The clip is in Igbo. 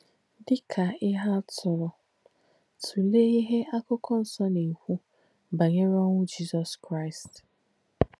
Dì kà íhe àtùlù, tùleé íhe Àkụ̀kọ̣ Nsọ́ nà-èkwú bànyè̄re ọ̀nwú Jísọ̀s Kráīst.